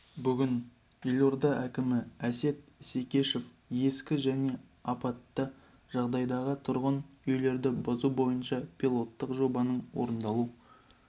бүгін елорда әкімі әсет исекешев ескі және апатты жағдайдағы тұрғын үйлерді бұзу бойынша пилоттық жобаның орындалу